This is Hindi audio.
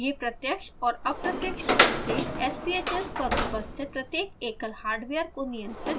यह प्रत्यक्ष और अप्रत्यक्ष रूप से sbhs पर उपस्थित प्रत्येक एकल हार्डवेयर को नियंत्रित करता है